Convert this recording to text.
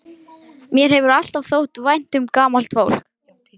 Mér hefur alltaf þótt vænt um gamalt fólk.